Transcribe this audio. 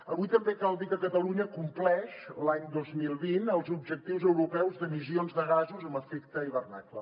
avui també cal dir que catalunya compleix l’any dos mil vint els objectius europeus d’emissions de gasos amb efecte hivernacle